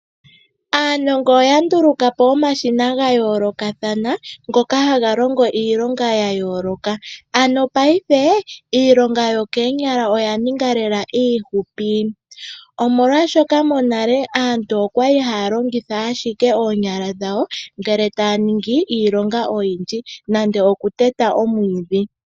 Aanongo oya nduluka po omashina ga yoolokathana ngoka haga longo iilonga ya yooloka. Ano ngashingeyi iilonga yokoonyala oya ninga lela iifupi. Omolwashoka monale aantu okwali haya longitha ashike oonyala dhawo ngele taya longo iilonga oyindji nenge okuteta omwiidhi.